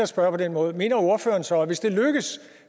spørge på denne måde mener ordføreren så at vi hvis det lykkes